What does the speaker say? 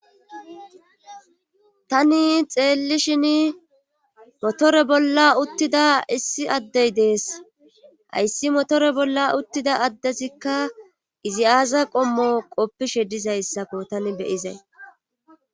tani xeellishin motore bolla uttida issi addey dees hayssi motore bolla uttida addesikka izi aaza qommo qoppishe dizayssako tani beyizay